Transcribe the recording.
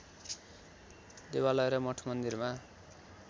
देवालय र मठमन्दिरमा